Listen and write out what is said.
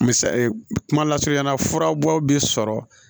Misaye kuma lasurunyala furabɔw bi sɔrɔ